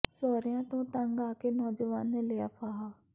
ਸਹੁਰਿਆਂ ਤੋਂ ਤੰਗ ਆ ਕੇ ਨੌਜਵਾਨ ਨੇ ਲਿਆ ਫਾਹਾ